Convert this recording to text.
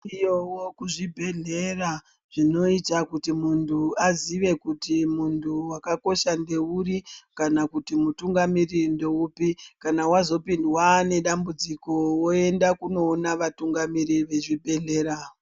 Zviriyowo zvibhehlera zvinoita kuti munhu azive kuti munhu wakakosha ndeuri kana kuti mutungamiriri ndeupi kana wazopindwa nedambudziko woenda kunoona vatungamiri vezvibhehlera.